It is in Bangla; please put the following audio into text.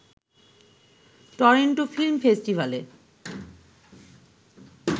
টরন্টো ফিল্ম ফেস্টিভ্যালে